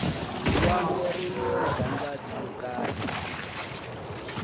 lwandle rini magandlati yo kariha